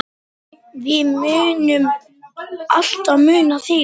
Mummi værum ekki.